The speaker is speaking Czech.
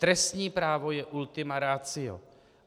Trestní právo je ultima ratio.